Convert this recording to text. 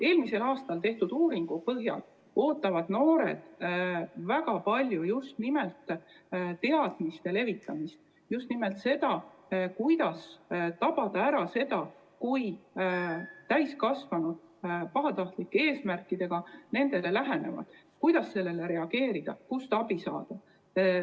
Eelmisel aastal tehtud uuringu põhjal ootavad noored väga palju just nimelt teadmiste levitamist, just nimelt seda, kuidas tabada ära, kui täiskasvanud neile pahatahtlike eesmärkidega lähenevad, kuidas sellele reageerida ja kust abi saada.